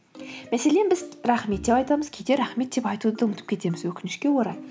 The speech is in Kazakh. мәселен біз рахмет деп айтамыз кейде рахмет деп айтуды ұмытып кетеміз өкінішке орай